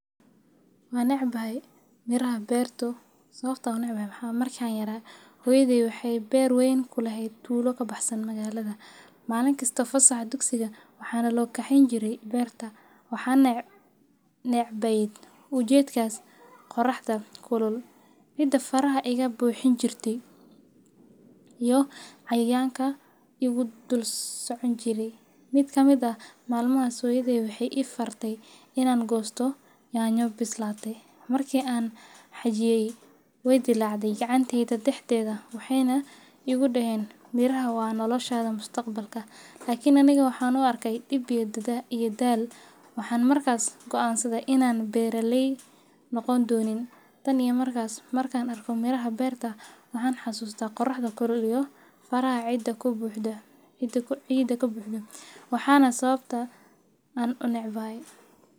Waa necbahay miraha beerta sababatoo unecbahay waxaa waaye markaan yaraa hooyedey wexeey beer weyn kuleheed tulada meel kabaxsan magaalada. Maalin kasta fasaxa dugsiga waxaa nola kexeyn jire beerta, waxaan necbaay ujeedkaas qoraxda kulul, ciida farha iga buuxin jirte iyoo cayayaanka igu dul socon jirey mid ka mid ah maanimahaas hooyodey waxaay ifartay inaan goosto nyanyo bislaatey. Marki aan xajiyey wey dilaacday gacanteyda daxdeeda waxaayna igu deheen miraha waa noolashaada mustaqbalka lakin ani waxaan uu arkay dib iyo daal waxaan markaas goansaday inaan beraley noqon doonin tan iyo markaas, markaan arka miraha beerta waxaan xasuustaa qoraxda kulul iyo faraha ciida kabuuxda waana sababta aan unecbahay.